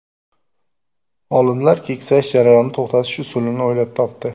Olimlar keksayish jarayonini to‘xtatish usulini o‘ylab topdi.